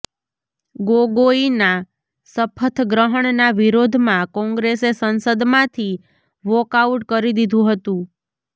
ગોગોઈના શપથગ્રહણના વિરોધમાં કોંગ્રેસે સંસદમાંથી વોકઆઉટ કરી દીધું હતું